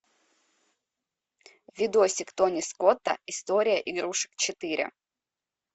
видосик тони скотта история игрушек четыре